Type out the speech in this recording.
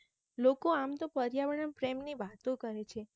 લોકો આમ તો પર્યાવણ ના પ્રેમ ની વાતો કરે છે